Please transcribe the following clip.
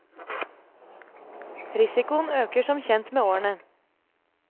Risikoen øker som kjent med årene.